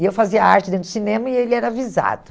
E eu fazia arte dentro do cinema e ele era avisado.